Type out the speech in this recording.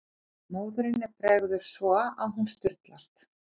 Móðurinni bregður svo að hún sturlast.